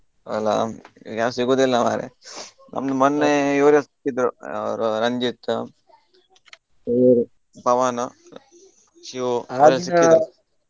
ಅಲ್ಲಾ ಈಗ ಯಾರು ಸಿಗುದಿಲ್ಲಾ ಮಾರೆ ನಂಗ ಮೊನ್ನೆ ಇವ್ರು ಸಿಕ್ಕಿದ್ರು ಅವರು ರಂಜಿತ್ ಇವರು ಪವನು ಶಿವು .